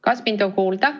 Kas mind on kuulda?